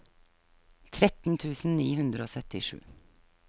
tretten tusen ni hundre og syttisju